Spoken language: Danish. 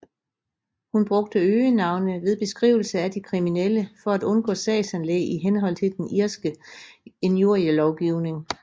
Hun brugte øgenavne ved beskrivelse af de kriminelle for at undgå sagsanlæg i henhold til den irske injurielovgivning